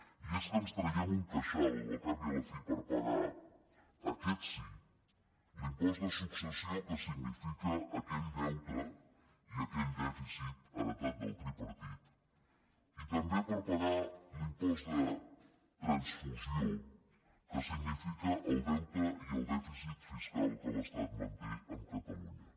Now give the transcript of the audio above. i és que ens traiem un queixal al cap i a la fi per pagar aquest sí l’impost de successió que significa aquell deute i aquell dèficit heretat del tripartit i també per pagar l’impost de transfusió que signifiquen el deute i el dèficit fiscal que l’estat manté amb catalunya